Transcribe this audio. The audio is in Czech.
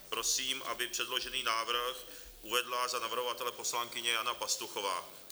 Prosím, aby předložený návrh uvedla za navrhovatele poslankyně Jana Pastuchová.